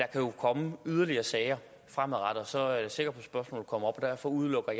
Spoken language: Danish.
der jo komme yderligere sager og så er jeg sikker på at spørgsmålet kommer op derfor udelukker